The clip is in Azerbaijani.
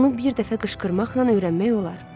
Onu bir dəfə qışqırmaqla öyrənmək olar.